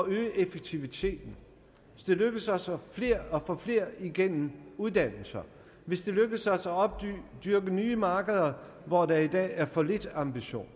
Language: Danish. øge effektiviteten hvis det lykkes os at få flere igennem uddannelser hvis det lykkes os at opdyrke nye markeder hvor der i dag er for lidt ambition